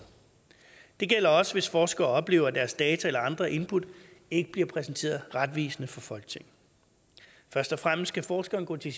det gælder også hvis forskere oplever at deres data eller andre input ikke bliver præsenteret retvisende for folketinget først og fremmest skal forskere gå til